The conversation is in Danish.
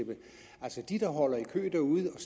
kø derude og